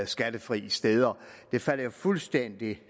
skattefrie steder falder jo fuldstændig